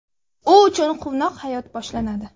U uchun quvnoq hayot boshlanadi.